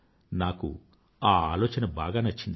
నాకా ఆలోచన బాగా నచ్చింది